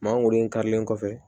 Maa golo in karilen kɔfɛ